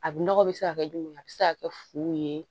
A nɔgɔ bɛ se ka kɛ jumɛn a bɛ se ka kɛ fu ye